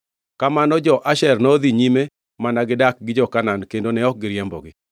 kamano jo-Asher nodhi nyime mana gidak gi jo-Kanaan kendo ne ok giriembogi.